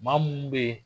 Maa munnu be yen